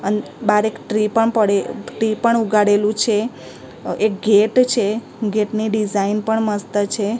અન બાર એક ટ્રી પણ પડે ટી પણ ઉગાડેલું છે એક ગેટ છે ગેટ ની ડિઝાઇન પણ મસ્ત છે.